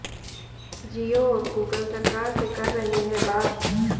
जियो और गूगल सरकार से कर रहे हैं बात